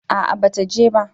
A'a ba ta je ba